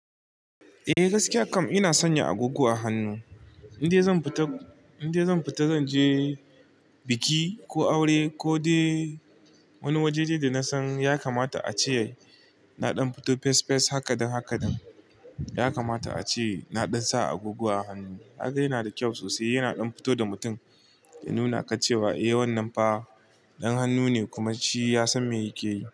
Eh gaskiya kam ina sanya agogo a hannu. In dai zan fita, in dai zan fita zan je biki ko aure ko dai wani wajaje da na san ya kamata a ce na ɗan fito fes fes haka da haka da. Ya kamata ace na ɗan sa agogo a hannu. Haka yana da kyau sosai, yana ɗan fito da mutum ya nuna ka cewa eh wannan fa ɗan hannu ne kuma shi ya san me yake yi.